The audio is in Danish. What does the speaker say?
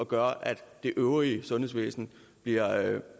gør at det øvrige sundhedsvæsen bliver